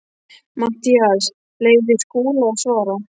MATTHÍAS: Leyfið þið Skúla að svara.